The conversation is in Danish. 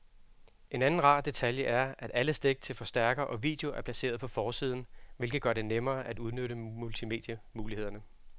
En anden rar detalje er, at alle stik til forstærker og video er placeret på forsiden, hvilket gør det nemmere at udnytte multimedie-mulighederne.